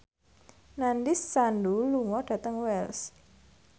Nandish Sandhu lunga dhateng Wells